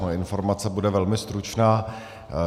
Moje informace bude velmi stručná.